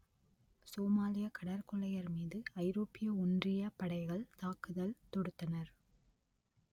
சோமாலிய கடற்கொள்ளையர் மீது ஐரோப்பிய ஒன்றியப் படைகள் தாக்குதல் தொடுத்தனர்